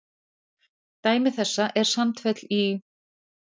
Dæmi þessa er Sandfell í